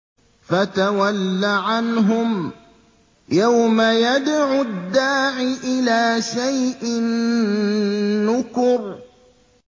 فَتَوَلَّ عَنْهُمْ ۘ يَوْمَ يَدْعُ الدَّاعِ إِلَىٰ شَيْءٍ نُّكُرٍ